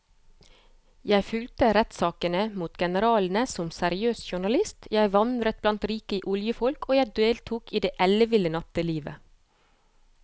Jeg fulgte rettssakene mot generalene som seriøs journalist, jeg vandret blant rike oljefolk og jeg deltok i det elleville nattelivet.